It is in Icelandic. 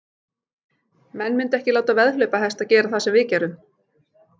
Menn myndu ekki láta veðhlaupahesta gera það sem við gerum.